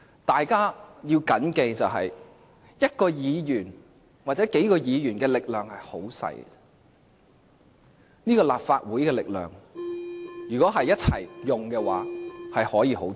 大家要緊記，一位議員或數位議員的力量很小，但立法會全體議員的力量可以很大。